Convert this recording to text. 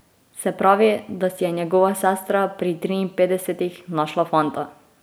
Se pravi, da si je njegova sestra pri triinpetdesetih našla fanta!